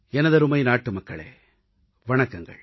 எனதருமை நாட்டுமக்களே வணக்கங்கள்